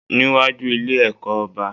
Níwájú Ilé ẹ̀kọ́ oba